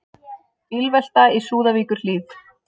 Bílvelta í Súðavíkurhlíð